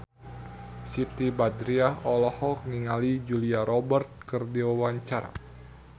Siti Badriah olohok ningali Julia Robert keur diwawancara